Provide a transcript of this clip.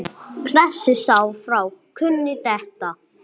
Klessu sá frá kúnni detta.